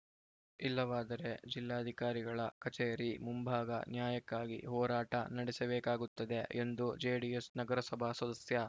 ಇಲ್ಲವಾದರೆ ಜಿಲ್ಲಾಧಿಕಾರಿಗಳ ಕಚೇರಿ ಮುಂಭಾಗ ನ್ಯಾಯಕ್ಕಾಗಿ ಹೋರಾಟ ನಡೆಸಬೇಕಾಗುತ್ತದೆ ಎಂದು ಜೆಡಿಎಸ್‌ ನಗರಸಭಾ ಸದಸ್ಯ